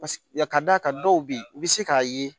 Paseke ya ka d'a kan dɔw bɛ yen i bɛ se k'a ye